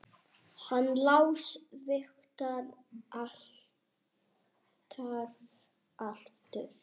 Hann Lási vaknar alltaf aftur.